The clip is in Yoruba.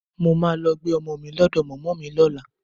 Mo máa lọ gbé ọmọ mi lọ́dọ̀ mọ̀mọ́ mi lọ́la